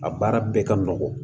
A baara bɛɛ ka nɔgɔn